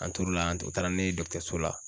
An tor'o la an o taara ne ye dɔgɔtɔrɔso la